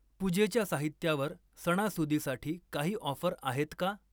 पूजेच्या साहित्यावर सणासुदीसाठी काही ऑफर आहेत का?